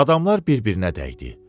Adamlar bir-birinə dəydi.